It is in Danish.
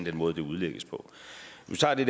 at det